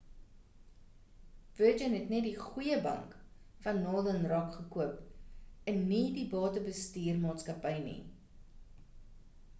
virgin het net die goeie bank van northern rock gekoop en nie die batebestuur maatskappy nie